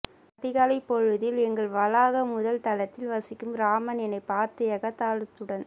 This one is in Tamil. அதிகாலைப் பொழுதில் எங்கள் வளாக முதல் தளத்தில் வசிக்கும் ராமன் என்னைப் பார்த்து எகத்தாளத்துடன்